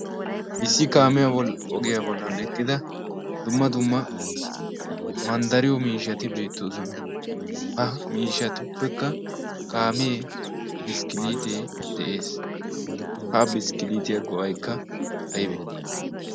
issi kaamiyaa ogiyaa bollan ekqida dumma dumma manddariyo miishshati beettoosona. ha miishshatuppekka kaamee biskkiliitee de'ees. ha biskkiliitiyaa go'aikka aybee?